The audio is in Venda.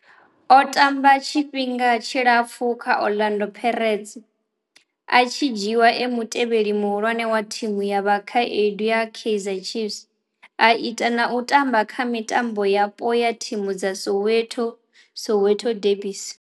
O tamba tshifhinga tshilapfhu kha Orlando Pirates a tshi dzhiiwa e mutevheli muhulwane wa thimu ya vhakhaedu ya Kaizer Chiefs a ita na u tamba kha mitambo yapo ya thimu dza Soweto, Soweto derbies.